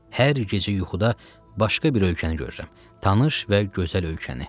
Hər gecə yuxuda başqa bir ölkəni görürəm, tanış və gözəl ölkəni.